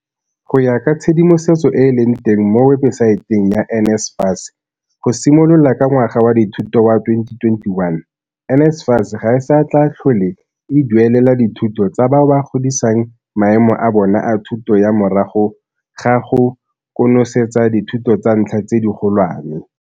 Go ya ka tshedimosetso e e leng teng mo webesaeteng ya NSFAS, go simolola ka ngwaga wa dithuto wa 2021, NSFAS ga e sa tla tlhole e duelela dithuto tsa bao ba godisang maemo a bona a thuto ya morago ga go konosetsa dithuto tsa ntlha tse digolwane.